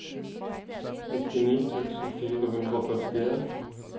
nittini tusen fire hundre og førtien